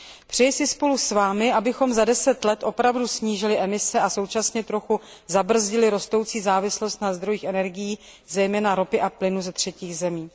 Přeji si spolu s vámi, abychom za deset let opravdu snížili emise a současně trochu zabrzdili rostoucí závislost na zdrojích energií, zejména ropy a plynu ze třetích zemí.